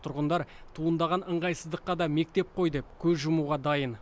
тұрғындар туындаған ыңғайсыздыққа да мектеп қой деп көз жұмуға дайын